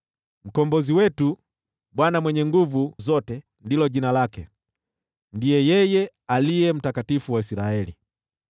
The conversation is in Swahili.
Mkombozi wetu: Bwana Mwenye Nguvu Zote ndilo jina lake; ndiye yeye Aliye Mtakatifu wa Israeli.